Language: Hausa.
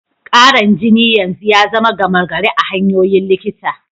Karan jini yanzu ya zama gama gari a hanyoyin likita.